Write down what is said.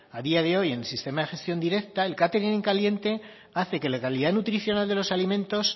a día de hoy en el sistema de gestión directa el catering en caliente hace que la calidad nutricional de los alimentos